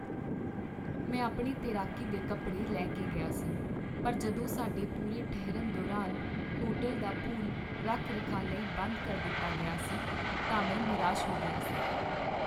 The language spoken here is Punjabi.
ਮੈਂ ਆਪਣੇ ਤੈਰਾਕੀ ਦੇ ਕੱਪੜੇ ਲੈ ਕੇ ਗਿਆ ਸੀ ਪਰ ਜਦੋਂ ਸਾਡੇ ਪੂਰੇ ਠਹਿਰਨ ਦੌਰਾਨ ਹੋਟਲ ਦਾ ਪੂਲ ਰੱਖ ਰਖਾਅ ਲਈ ਬੰਦ ਕਰ ਦਿੱਤਾ ਗਿਆ ਸੀ ਤਾਂ ਮੈਂ ਨਿਰਾਸ਼ ਹੋ ਗਿਆ ਸੀ